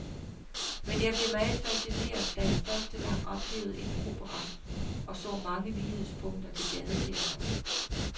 Men jeg blev meget fascineret, da jeg første gang oplevede en opera, og så mange lighedspunkter til gadeteateret.